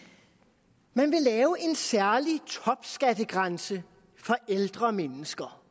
man vil lave en særlig topskattegrænse for ældre mennesker